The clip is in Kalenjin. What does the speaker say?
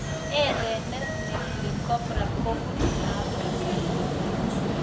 Erenet nekilee cobra kobunuu afrika